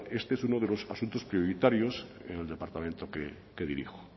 este es uno de los asuntos prioritarios en el departamento que dirijo